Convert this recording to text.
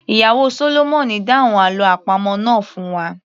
Ìyàwó sólómọ̀nì dáhùn àlọ́ àpamọ̀ náà fún wa